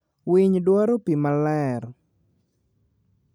Winy dwaro pi maler.